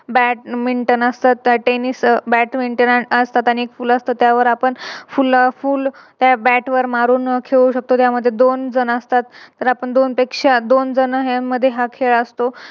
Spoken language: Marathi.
Badminton असत Teniss अं Badminton असत आणि फुल असत आणि त्यावर आपण फुला फुल त्या Bat वर मारून खेळू शकतो. त्यामध्ये दोन जण असतात तर आपण दोनपेक्षा दोन जणांमध्ये हा खेळ असतो